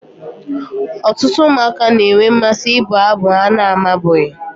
Ọtụtụ ụmụaka na-enwe mmasị ịbụ abụ ha na-amabughị